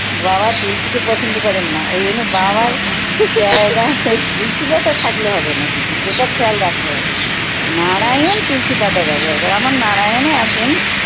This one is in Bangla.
বাবা তুলসিকে পছন্দ করেন না ওইজন্যে বাবার তুলসি পাতা থাকলে হবে না কিন্তু সেটা খেয়াল রাখতে হবে নারায়ণ তুলসি পাতা ব্যবহার করে আমার নারায়ণ ও আছে।